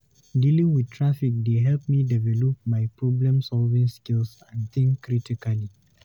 Dealing with traffic dey help me develop my problem-solving skills and think critically.